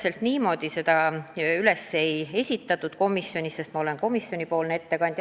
Täpselt niimoodi me seda komisjonis ei käsitlenud ja ma olen praegu komisjonipoolne ettekandja.